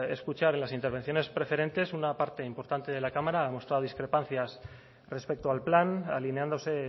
escuchar en las intervenciones preferentes una parte importante de la cámara ha mostrado discrepancias respecto al plan alineándose